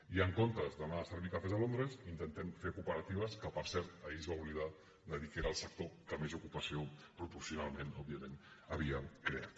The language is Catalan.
i en comptes d’anar a servir cafès a londres intentem fer cooperatives que per cert ahir es va oblidar de dir que era el sector que més ocupació proporcionalment òbviament havia creat